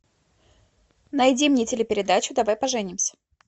найди мне телепередачу давай поженимся